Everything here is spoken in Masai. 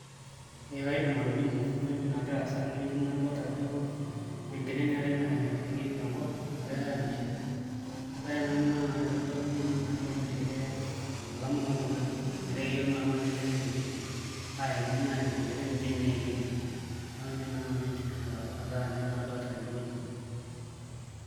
Ee kaidim atolimu ore entoki nagira aasa tenewueji nadolta ajo enkiteng' eetai nairragieki tenkop nagirai aamishirr ore ena naa kitodolu naa naai ormishire olama loltung'ani metaa keyiolou naa naai oltung'ani enkiteng' enye arashu idimi naai aatimishirr enkiteng' inji tenaa kemuoi neeku ninye naai nanu aidim ataa kadolta tenewueji.